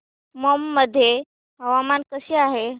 मौ मध्ये हवामान कसे आहे